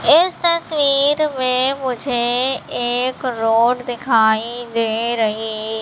इस तस्वीर में मुझे एक रोड दिखाई दे रही--